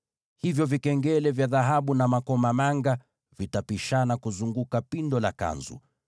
Hivyo vikengele vya dhahabu na makomamanga vitapishana kuzunguka upindo wa joho lile.